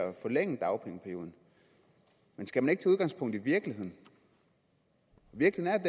forlænge dagpengeperioden men skal man ikke tage udgangspunkt i virkeligheden virkeligheden